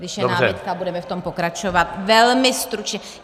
Když je námitka, budeme v tom pokračovat velmi stručně.